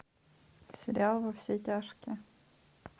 сериал во все тяжкие